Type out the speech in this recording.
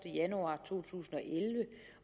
januar to tusind